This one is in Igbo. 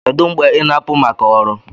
Kedu mgbe ị na-apụ maka ọrụ?